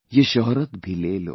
Ye shohrat bhi le lo